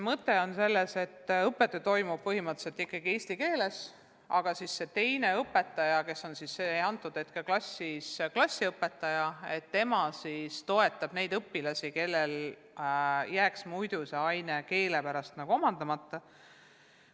Mõte on selles, et õppetöö toimub põhimõtteliselt ikkagi eesti keeles, aga see teine õpetaja, kes on klassis klassiõpetaja, toetab neid õpilasi, kellel jääks muidu see aine keele pärast omandamata.